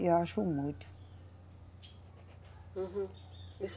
E eu acho muito. Uhum.